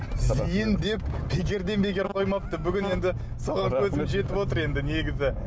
зейін деп бекерден бекер қоймапты бүгін енді соған көзім жетіп отыр енді негізі